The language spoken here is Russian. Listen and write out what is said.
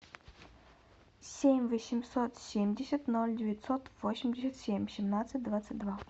семь восемьсот семьдесят ноль девятьсот восемьдесят семь семнадцать двадцать два